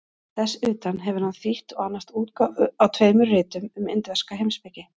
Þess utan hefur hann þýtt og annast útgáfu á tveimur ritum um indverska heimspeki.